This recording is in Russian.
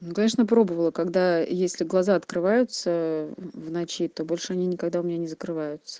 ну конечно пробовала когда если глаза открываются в ночи то больше они никогда у меня не закрываются